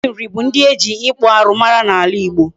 Ndị Nri bụ ndị eji ịkpụ arụ mara n'ala Igbo.